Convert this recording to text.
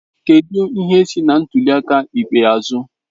Kedu ihe si na ntuli aka ikpeazụ?